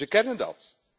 Dus we kennen dat.